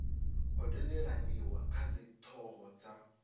ho tendelaniwa kha dzithoho dza